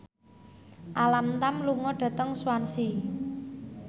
Alam Tam lunga dhateng Swansea